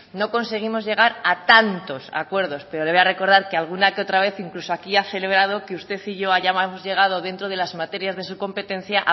no conseguimos llegar a tantos acuerdos pero le voy a recordar que alguna que otra vez incluso ha celebrado que usted y yo hayamos llegado dentro de las materias de su competencia